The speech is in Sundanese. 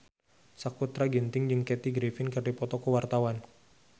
Sakutra Ginting jeung Kathy Griffin keur dipoto ku wartawan